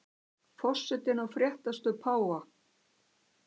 Forsetinn á fréttastöð páfa